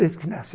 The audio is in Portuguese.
Desde que nasci.